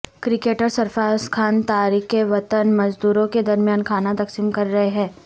cricketer Sarfaraz Khan تارکین وطن مزدوروں کے درمیان کھانا تقسیم کر رہے ہیں